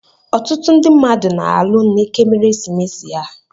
Ọtụtụ ndị mmadụ na-alụ n'ekeresimesi a.